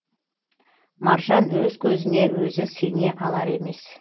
маржан өз көзіне өзі сене алар емес